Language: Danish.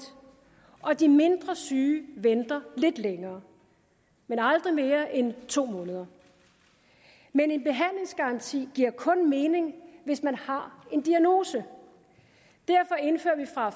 og de mindre syge venter lidt længere men aldrig mere end to måneder men en behandlingsgaranti giver kun mening hvis man har en diagnose derfor indfører vi fra